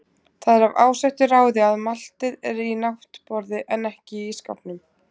Það er af ásettu ráði að maltið er í náttborði en ekki í ísskápnum.